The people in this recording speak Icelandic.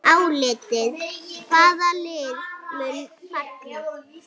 Álitið: Hvaða lið munu falla?